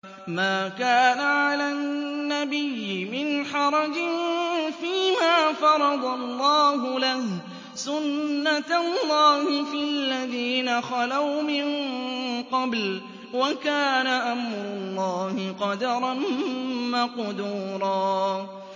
مَّا كَانَ عَلَى النَّبِيِّ مِنْ حَرَجٍ فِيمَا فَرَضَ اللَّهُ لَهُ ۖ سُنَّةَ اللَّهِ فِي الَّذِينَ خَلَوْا مِن قَبْلُ ۚ وَكَانَ أَمْرُ اللَّهِ قَدَرًا مَّقْدُورًا